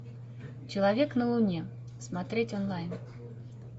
человек на луне смотреть онлайн